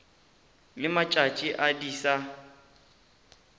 le matšatši a di sa